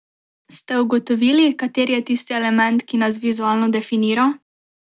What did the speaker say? Ste ugotovili, kateri je tisti element, ki nas vizualno definira?